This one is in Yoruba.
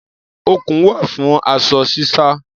Okùn wà fún aṣọ sísá.